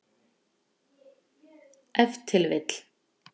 Ef til vill.